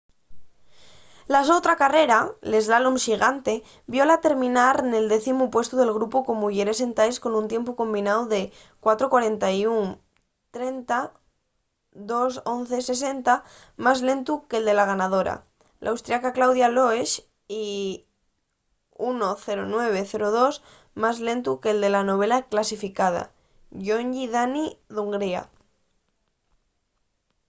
la so otra carrera l’eslalom xigante viola terminar nel décimu puestu del grupu de muyeres sentaes con un tiempu combináu de 4:41.30 2.11.60 más lentu que’l de la ganadora l'austriaca claudia loesch y 1.09.02 más lentu que’l de la novena clasificada gyöngyi dani d’hungría